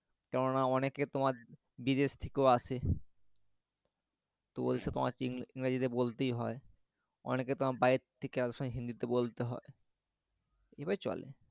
কেননা অনেকে তোমার বিদেশ থেকেও আসে তো ওদের সাথে ইংরাজিতে বলতেই হয় অনেকে তোমার বাইরে থেকে অনেক সময় হিন্দি তে বলতে হয় এইভাবেই চলে